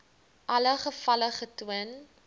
alle gevalle getoon